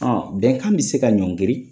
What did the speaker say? bɛnkan bɛ se ka ɲɔngri